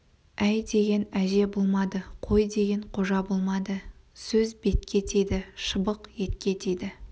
әй деген әже болмады қой деген қожа болмады сөз бетке тиді шыбық етке тиді